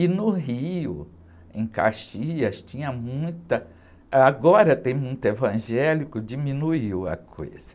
E no Rio, em Caxias, tinha muita... Ãh, agora tem muito evangélico, diminuiu a coisa.